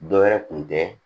Dɔ wɛrɛ kun tɛ